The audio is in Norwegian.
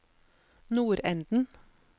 nordenden